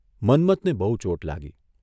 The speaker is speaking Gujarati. મન્મથ ને બહુ ચોટ લાગી.